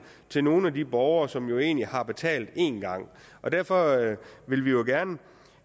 til nogle af de borgere som egentlig har betalt en gang derfor vil